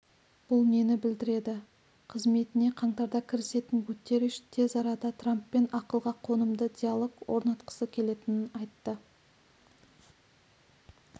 бұл нені білдіреді қызметіне қаңтарда кірісетін гутерриш тез арада трамппен ақылға қонымды диалог орнатқысы келетінін айтты